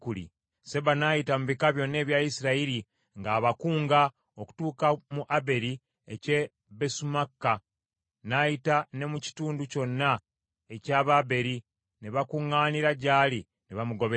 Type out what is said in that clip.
Seba n’ayita mu bika byonna ebya Isirayiri ng’abakunga okutuuka mu Aberi eky’e Besumaaka, n’ayita ne mu kitundu kyonna eky’Ababeri ne bakuŋŋaanira gy’ali ne bamugoberera.